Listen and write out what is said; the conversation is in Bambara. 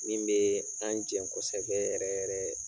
Min bee an jɛn kosɛbɛ yɛrɛ yɛrɛ